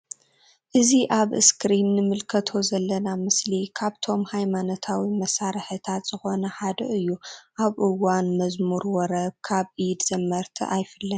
እዚ ኣብ እስክሪን እንምልከቶ ዘለና ምስሊ ካብቶም ሃይማንታዊ መሳርሕታት ዝኮነ ሓደ እዩ ኣብ እዋን መዝሙር ወረብ ካብ ኢድ ዘመርቲ ኣይፍለን።